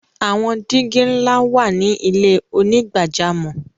Awọn digi nla wa ni ilẹ̀ onígbàjàmọ́.